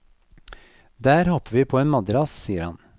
Der hopper vi på en madrass, sier han.